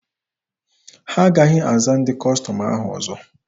Ha agaghị aza ndị Kọstọm ahụ ọzọ.